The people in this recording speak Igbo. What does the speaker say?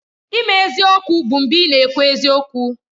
Ime eziokwu bụ mgbe ị na-ekwu eziokwu